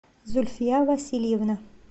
зульфия васильевна